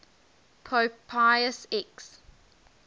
pope pius x